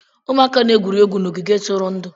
Ụmụaka na-egwuri egwu n'ogige ntụrụndụ.